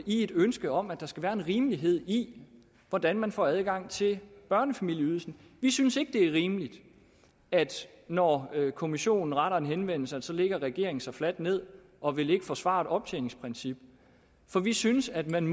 i et ønske om at der skal være en rimelighed i hvordan man får adgang til børnefamilieydelsen vi synes ikke det er rimeligt at når kommissionen retter en henvendelse lægger regeringen sig fladt ned og vil ikke forsvare et optjeningsprincip for vi synes at man